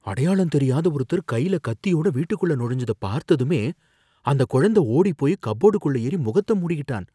அடையாளம் தெரியாத ஒருத்தர் கைல கத்தியோட வீட்டுக்குள்ள நுழைஞ்சத பார்த்ததுமே அந்தக் குழந்தை ஓடிப் போயி கப்போர்டுக்குள்ள ஏறி முகத்த மூடிக்கிட்டான்